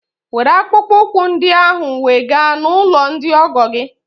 Were akpụkpọ ụkwụ ọhụrụ ndị ahụ wega n'ụlọ ndị ọgọ gị!